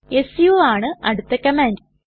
സു ആണ് അടുത്ത കമാൻഡ്